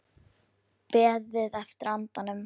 Beðið eftir andanum